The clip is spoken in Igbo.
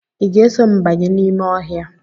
Ị ga-eso m banye n'ime ọhịa?